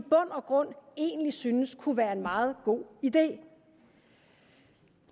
og grund egentlig synes kunne være en meget god idé